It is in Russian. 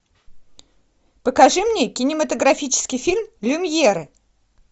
покажи мне кинематографический фильм люмьеры